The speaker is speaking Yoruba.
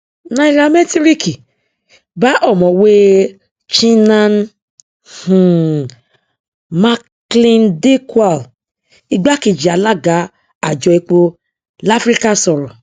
nairamẹtíríkì bá ọmọwé chinnan um macleandikwal igbákejì alága àjọ epo láfíríkà sọrọ